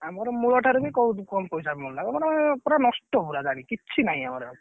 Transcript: ଆମର ମୂଳ ଠାରୁ ବି ବହୁତ କମ ପଇସା ମିଳିଲା ଏଗୁଡା ମାନେ ପୁରା ନଷ୍ଟ ପୁରା ଯାଇକି କିଛି ନାଇ ଆମର ଆଉ।